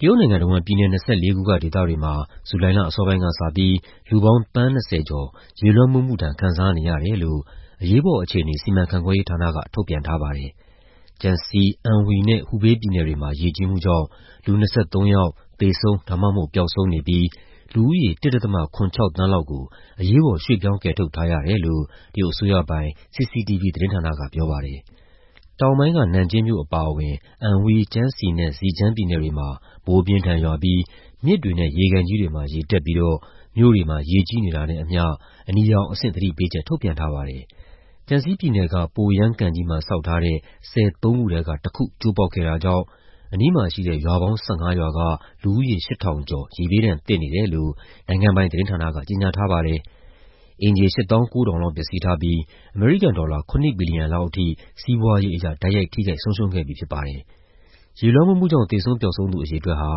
တရုတ်နိုင်ငံတဝန်း ပြည်နယ် ၂၄ ခုက ဒေသတွေမှာ ဇူလိုင်လ အစောပိုင်းကစပြီး လူပေါင်း သန်း ၂၀ ကျော် ရေလွှမ်းမိုးမှုဒဏ် ခံစားနေရတယ်လို့ အရေးပေါ်အခြေအနေ စီမံခန့်ခွဲရေးဌာနက ထုတ်ပြန်ထားပါတယ်။ Jiangxi, Anhui နဲ့ Hubei ပြည်နယ်တွေမှာ ရေကြီးမှုကြောင့် လူ ၂၃ ယောက် သေဆုံး ဒါမှမဟုတ် ပျောက်ဆုံးနေပြီး လူဦးရေ ၁.၇၆ သန်းလောက်ကို အရေးပေါ် ရွှေ့ပြောင်း ကယ်ထုတ်ထားရတယ်လို့ တရုတ်အစိုးရပိုင် CCTV သတင်းဌာနက ပြောပါတယ်။ တောင်ပိုင်းက နန်ကျင်းမြို့အပါအဝင် Anhui, Jiangxi နဲ့ Zhejiang ပြည်နယ်တွေမှာ မိုးအပြင်းအထန်ရွာပြီး မြစ်တွေနဲ့ ရေကန်ကြီးတွေမှာ ရေတက်ပြီးတော့ မြို့တွေမှာ ရေကြီးနေတာနဲ့အမျှ အနီရောင်အဆင့် သတိပေးချက် ထုတ်ပြန်ထားပါတယ်။ Jiangxi ပြည်နယ်က Poyang ကန်ကြီးမှာ ဆောက်ထားတဲ့ ဆည်သုံးခုထဲကတခု ကျိုးပေါက်ခဲ့တာကြောင့် အနီးမှာရှိတဲ့ ရွာပေါင်း ၁၅ ရွာက လူဦးရေ ၈,၀၀၀ ကျော် ရေဘေးဒဏ်သင့်နေတယ်လို့ နိုင်ငံပိုင်သတင်းဌာနက ကြေညာထားပါတယ်။ အိမ်ခြေ ၈၉,၀၀၀ လောက် ပျက်စီးထားပြီး အမေရိကန်ဒေါ်လာ ၇ ဘီလီယံလောက်အထိ စီးပွားရေးအရ တိုက်ရိုက် ထိခိုက်ဆုံးရှုံးခဲ့ပြီ ဖြစ်ပါတယ်။ ရေလွှမ်းမိုးမှုကြောင့် သေဆုံး ပျောက်ဆုံးသူ အရေအတွက်ဟာ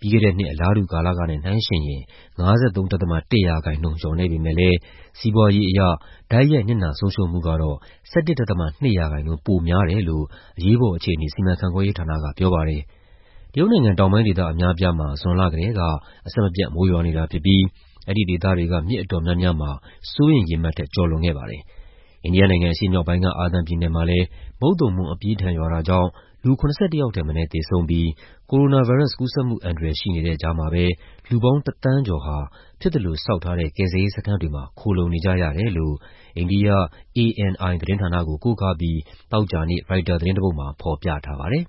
ပြီးခဲ့တဲ့နှစ် အလားတူကာလကနဲ့ နှိုင်းယှဉ်ရင် ၅၃.၁ ရာခိုင်နှုန်း လျော့နည်းပေမယ့်လည်း စီးပွားရေးအရ တိုက်ရိုက်နစ်နာ ဆုံးရှုံးမှုကတော့ ၁၁.၂ ရာခိုင်နှုန်း ပိုများတယ်လို့ အရေးပေါ်အခြေအနေ စီမံခန့်ခွဲရေးဌာနက ပြောပါတယ်။ တရုတ်နိုင်ငံတောင်ပိုင်း ဒေသအများအပြားမှာ ဇွန်လကတည်းက အဆက်မပြတ် မိုးရွာနေတာဖြစ်ပြီး အဲဒီဒေသတွေက မြစ်အတော်များများမှာ စိုးရိမ်ရေမှတ်ထက် ကျော်လွန်ခဲ့ပါတယ်။ အိန္ဒိယနိုင်ငံ အရှေ့မြောက်ပိုင်းက အာသမ်ပြည်နယ်မှာလည်း မုတ်သုံမိုး အပြင်းအထန်ရွာတာကြောင့် လူ ၇၁ ယောက်ထက်မနည်း သေဆုံးပြီး ကိုရိုနာဗိုင်းရပ်စ် ကူးစက်မှုအန္တရာယ် ရှိနေတဲ့ကြားမှာပဲ လူပေါင်း ၁ သန်းကျော်ဟာ ဖြစ်သလို ဆောက်ထားတဲ့ ကယ်ဆယ်ရေးစခန်းတွေမှာ ခိုလှုံနေကြရတယ်လို့ အိန္ဒိယ ANI သတင်းဌာနကို ကိုးကားပြီး သောကြာနေ့ ရိုက်တာသတင်းတပုဒ်မှာ ဖော်ပြထားပါတယ်။